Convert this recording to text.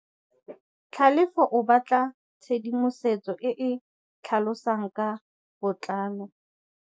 Tlhalefô o batla tshedimosetsô e e tlhalosang ka botlalô.